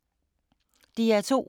DR2